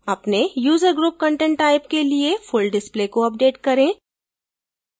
अपने user group content type के लिए full display को अपडेट करें